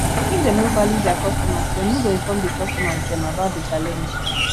if dem no value their customers dem no go inform di customers dem about the challenge